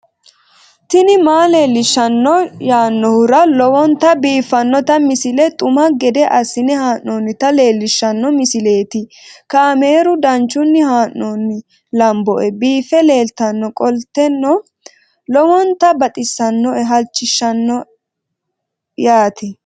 tini maa leelishshanno yaannohura lowonta biiffanota misile xuma gede assine haa'noonnita leellishshanno misileeti kaameru danchunni haa'noonni lamboe biiffe leeeltannoqolten lowonta baxissannoe halchishshanno yaate